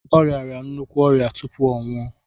Ọ riara nnukwu ọrịa tupu ọ nwụọ